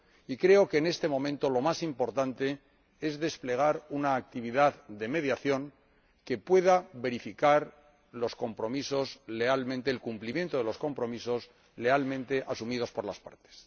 Y creo que, en este momento, lo más importante es desplegar una actividad de mediación que pueda verificar el cumplimiento de los compromisos lealmente asumidos por las partes.